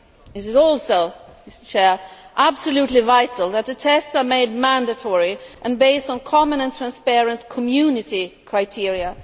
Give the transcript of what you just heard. It is also absolutely vital that the tests should be made mandatory and be based on common and transparent Community criteria.